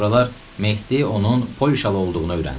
Sonralar Mehdi onun polyşalı olduğunu öyrəndi.